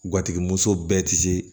Gatigi muso bɛɛ ti se